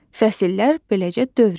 Fəsillər beləcə dövr edir.